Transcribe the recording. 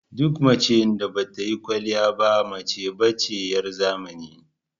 Duk macen da ba ta yin kwaliya ba mace ba ce 'yar zamani.